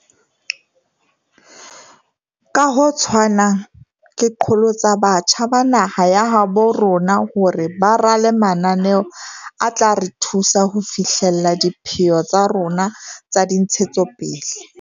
Ka ho tshwanang, ke qholotsa batjha ba naha ya habo rona hore ba rale mananeo a tla re thusa ho fi hlella dipheo tsa rona tsa dintshetsopele.